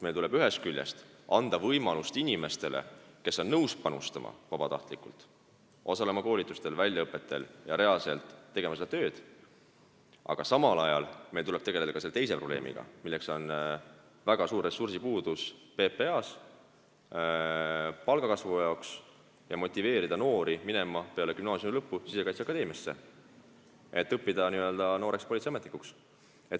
Meil tuleb ühest küljest anda inimestele, kes on nõus vabatahtlikult panustama, võimalusi osaleda koolitusel ja väljaõppel ning reaalselt seda tööd teha, aga samal ajal tuleb meil tegelda ka selle teise probleemiga, milleks on väga suur ressursipuudus PPA-s, meil tuleb tegelda palgakasvuga ja motiveerida noori minema peale gümnaasiumi lõppu Sisekaitseakadeemiasse, et õppida politseiametnikuks.